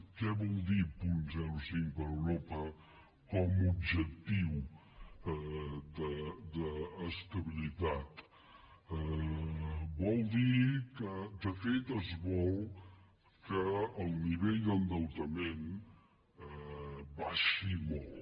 què vol dir punt zero coma cinc per europa com a objectiu d’estabilitat vol dir que de fet es vol que el nivell d’endeutament baixi molt